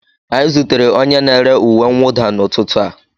Anyị zutere onye na-ere uwe mwụda n'ụtụtụ a